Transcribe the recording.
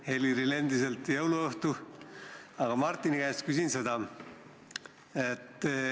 Heliril on endiselt jõuluõhtu, aga Martini käest küsin seda.